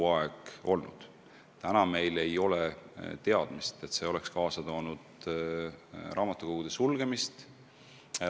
Aga seni meil ei ole teadmist, et see oleks kaasa toonud raamatukogude sulgemist.